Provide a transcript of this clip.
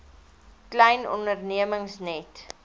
klein ondernemings net